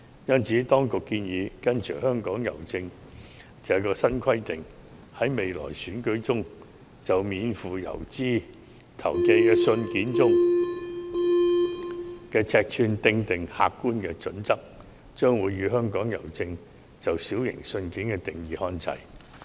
因此，當局建議跟隨香港郵政的新規定，在未來選舉中就免付郵資投寄的信件的尺寸訂定客觀準則，與香港郵政"小型信件"的定義看齊。